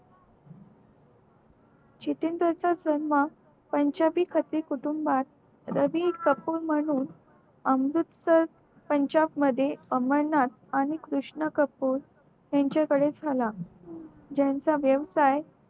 जन्म त्याच्या हि कुटुंबात रवी कपूर म्हणून अमृतसर त्याच्या मध्ये अंबरनाथ आणि कृष्ण कपूर यांच्या कडे झाला त्याचा वेवसाय